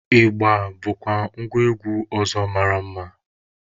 Ịgba bụkwa ngwa egwu ọzọ mara mma.